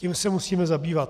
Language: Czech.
Tím se musíme zabývat.